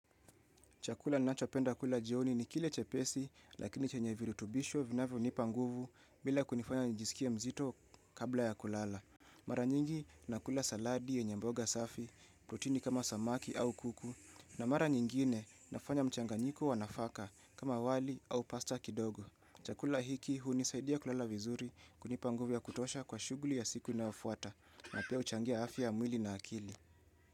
Chakula ninachopenda kula jioni ni kile chepesi lakini chenye virutubisho vinavyo nipanguvu bila kunifanya nijisikia mzito kabla ya kulala. Mara nyingi nakula saladi yenye mboga safi, protini kama samaki au kuku, na mara nyingine nafanya mchanganyiko wanafaka kama wali au pasta kidogo. Chakula hiki hunisaidia kulala vizuri kunipanguvu ya kutosha kwa shughuli ya siku inafuata na pia uchangia afya ya mwili na akili.